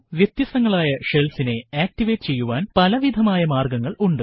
വ്യത്യസ്തങ്ങളായ shellsനെ ആക്ടിവേറ്റ് ചെയ്യുവാൻ പലവിധമായ മാർഗ്ഗങ്ങൾ ഉണ്ട്